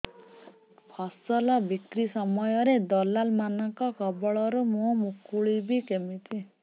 ଫସଲ ବିକ୍ରୀ ସମୟରେ ଦଲାଲ୍ ମାନଙ୍କ କବଳରୁ ମୁଁ ମୁକୁଳିଵି କେମିତି